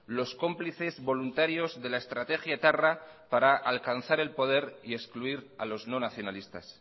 los cómplices voluntarios de la estrategia etarra para alcanzar el poder y excluir a los no nacionalistas